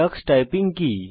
tax typing কি